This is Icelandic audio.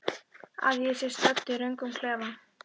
Að ég sé stödd í röngum klefa?